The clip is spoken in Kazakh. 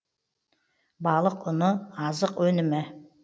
балық ұны азық өнімі